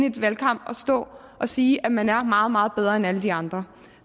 en valgkamp at stå og sige at man er meget meget bedre end alle de andre